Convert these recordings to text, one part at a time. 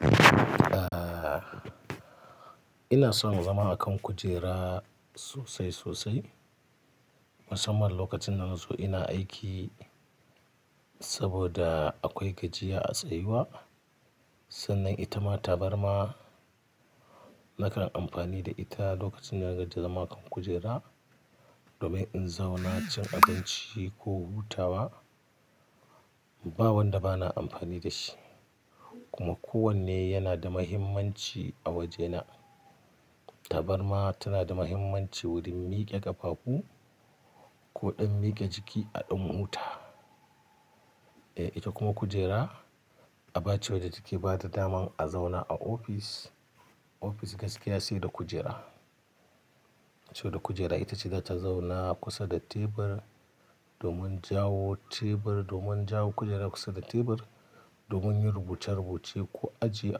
Eh, ina son zama a kan kujera sosai sosai. Musamman lokacin dana zo ina aiki saboda akwai gajiya a tsayuwa. Sannan ita ma tabarma na kan amfani da ita lokacin da naga ji da zama kan kujera domin in zauna cin abinci ko hutawa. Ba wanda ba na amfani da shi kuma kowanne yana da mahimmanci a wajena. Tabarma tana da mahimmanci wurin mike ƙafafu ko dan mike jiki a ɗan huta. Eh, ita kuma kujera abace wadda take bata dama a zauna a ofis. Ofis gaskiya sai da kujera. Sau da kujera itace zata zauna kusa da tebur domin jawo tebur, domin jawo kujera kusa da tebur, domin yin rubuce-rubuce ko ajiye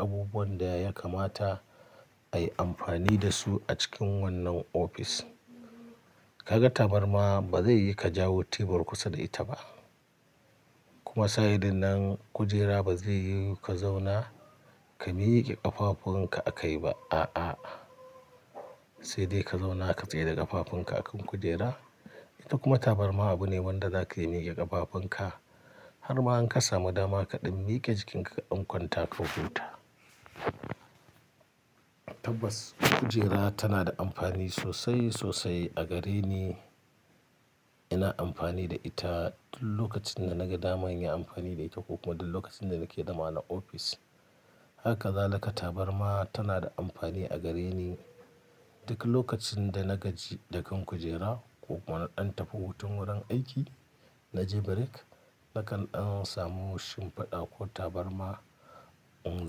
abubuwan da ya kamata ayi amfani da su a cikin wannan ofis. Kaga tabarma ba zai yika jawo tebur kusa da ita ba. Kuma sa'idinnan kujera ba zai yiwu ka zauna ka mike ƙafafunka a kai ba. A'a. Sai dai ka zauna ka tsaye da ƙafafunka akan kujera. Ita kuma tabarma abu ne wanda zaka iya mike ƙafafunka har ma in ka samu dama kaɗan mike jikinka ka kwanta ka huta. Tabbas kujera tana da amfani sosai sosai a gareni. Ina amfani da ita tun lokacin da naga dama in yi amfani da ita ko kuma duk lokacin da nake dama na ofis. Haka zalika tabarma tana da amfani a gareni duk lokacin da na gaji da kan kujera ko kuma na dan tafi hutun wurin aiki. Naje break nakan dan samu shimfiɗa ko tabarma in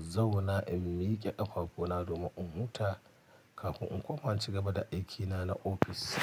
zauna in mike ƙafafuna domin in huta kafin in koma in ci gaba da aikina na ofis.